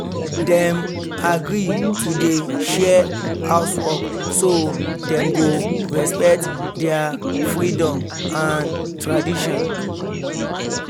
dem agree to dey share housework so dem go respect their freedom and tradition